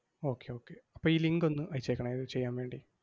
Okay okay അപ്പം ഈ link ഒന്ന് അയച്ചേക്കണേ, ഇത് ചെയ്യാൻ വേണ്ടി.